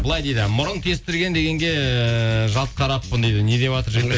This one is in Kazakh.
былай дейді мұрын тестірген дегенге жалт қараппын дейді недеватыр жігіттер